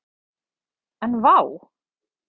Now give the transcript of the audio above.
En vá!